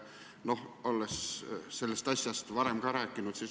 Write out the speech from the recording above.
Oled sellest asjast varem ka rääkinud.